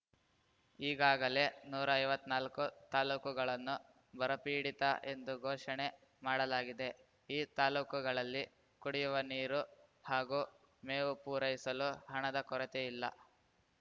ಈಗಾಗಲೇ ನೂರಾ ಐವತ್ನಾಲ್ಕು ತಾಲೂಕುಗಳನ್ನು ಬರಪೀಡಿತ ಎಂದು ಘೋಷಣೆ ಮಾಡಲಾಗಿದೆ ಈ ತಾಲೂಕುಗಳಲ್ಲಿ ಕುಡಿಯುವ ನೀರು ಹಾಗೂ ಮೇವು ಪೂರೈಸಲು ಹಣದ ಕೊರತೆಯಿಲ್ಲ